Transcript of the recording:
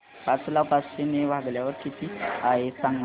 पाच ला पाचशे ने भागल्यास किती आहे सांगना